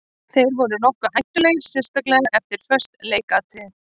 Þeir voru nokkuð hættulegir sérstaklega eftir föst leikatriði.